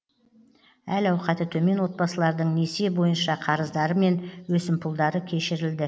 әл ауқаты төмен отбасылардың несие бойынша қарыздары мен өсімпұлдары кешірілді